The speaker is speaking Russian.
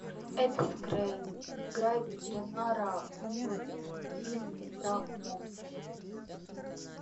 эд скрейн играет ветеринара в фильме про мопса